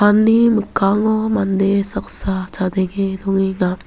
mikkango mande saksa chadenge dongenga.